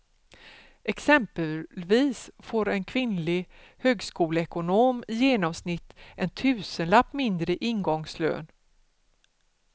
Exempelvis får en kvinnlig högskoleekonom i genomsnitt en tusenlapp mindre i ingångslön.